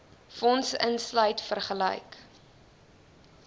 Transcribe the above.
fonds insluit vergelyk